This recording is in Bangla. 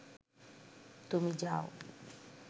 তুমি যাও